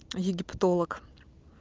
египтолог